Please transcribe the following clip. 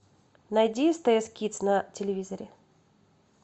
найди стс кидс на телевизоре